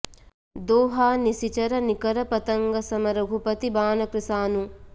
दोहा निसिचर निकर पतंग सम रघुपति बान कृसानु